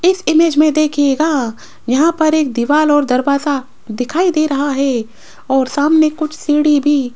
इस इमेज में देखिएगा यहां पर एक दीवाल और दरवाजा दिखाई दे रहा है और सामने कुछ सीढ़ी भी --